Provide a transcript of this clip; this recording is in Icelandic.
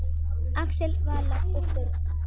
Axel, Vala og börn.